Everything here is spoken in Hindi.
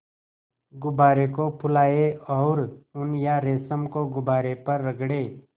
गुब्बारे को फुलाएँ और ऊन या रेशम को गुब्बारे पर रगड़ें